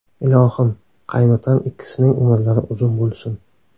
Ilohim, qaynotam ikkisining umrlari uzun bo‘lsin.